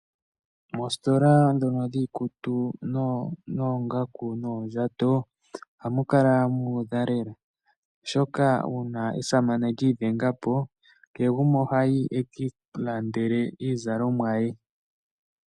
Moositola ndhono dhiikutu noongaku noondjato ohamu kala muudha lela , oshoka uuna esamane lyi idhenga po kehe gumwe ohayi e ki ilandele iizalomwa ye.